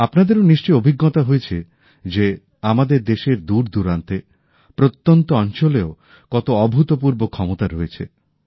আপনাদেরও নিশ্চয়ই অভিজ্ঞতা হয়েছে যে আমাদের দেশের দূরদূরান্তে প্রত্যন্ত অঞ্চলেও কত অভূতপূর্ব ক্ষমতা রয়েছে